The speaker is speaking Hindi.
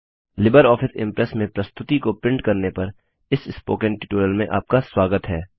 लिबरऑफिस इम्प्रेस में प्रस्तुति को प्रिंट करने पर इस स्पोकन ट्यूटोरियल में आपका स्वागत है